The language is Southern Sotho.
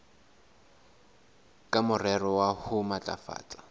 ka morero wa ho matlafatsa